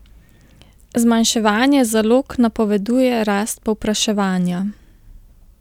Zmanjševanje zalog napoveduje rast povpraševanja.